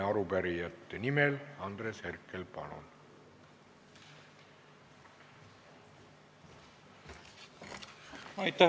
Arupärijate nimel Andres Herkel, palun!